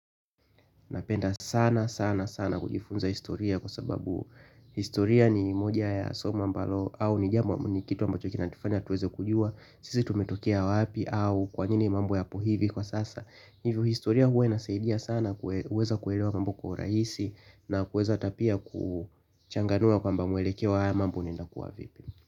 Napenda sana sana sana kujifunza historia kwa sababu historia ni moja ya somo ambalo au ni jambo ni kitu ambacho kina nifanya tuweze kujua. Sisi tumetokea wapi au kwa nini mambo ya po hivi kwa sasa. Hivyo historia huwa inasaidia sana kuweza kuelewa mambo kwa rahisi na kuweza ata pia kuchanganua kwamba mwelekeo wa haya mambo inakuwa vipi.